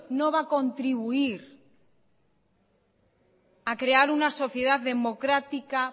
no va a contribuir a crear una sociedad democrática